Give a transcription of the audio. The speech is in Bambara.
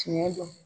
Tiɲɛ don